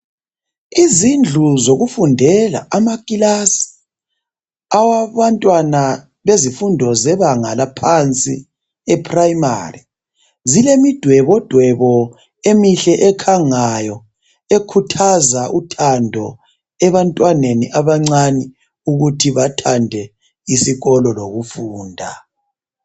Izindlu zokufundela amakilasi awabantwana bezifundo zebanga laphansi e primary zilemidwebodwebo emihle ekhangayo ekhuthaza uthando ebantwaneni abancane ukuthi bathande isikolo lokufunda